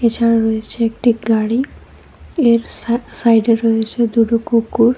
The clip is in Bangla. এছাড়াও রয়েছে একটি গাড়ি এর সা-সাইডে রয়েছে দুটো কুকুর।